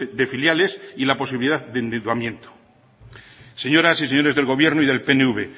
de filiales y la posibilidad de endeudamiento señoras y señores del gobierno y del pnv